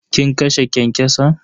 Kin kashe kyankyason?